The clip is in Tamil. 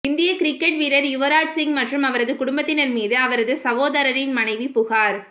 இந்திய கிரிக்கெட் வீரர் யுவராஜ் சிங் மற்றும் அவரது குடும்பத்தினர் மீது அவரது சகோதரரின் மனைவு புகார்